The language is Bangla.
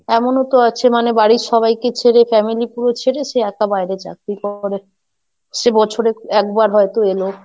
এমনও তো আছে মানে বাড়ির সবাইকে ছেড়ে, family পুরো ছেড়ে সে একা বাইরে চাকরি করে, সে বছরে একবার হয়তো এলো।